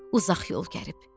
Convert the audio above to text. Uzaq yol gəlib.